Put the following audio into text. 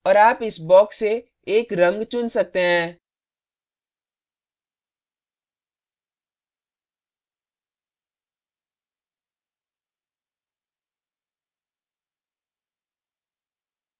और आप इस box से एक रंग चुन सकते हैं